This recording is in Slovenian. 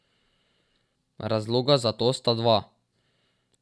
Razloga za to sta dva.